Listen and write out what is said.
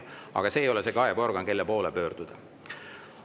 Ent juhatus ei ole organ, kelle poole kaebustega pöörduda.